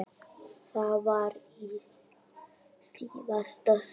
Það var í síðasta sinn.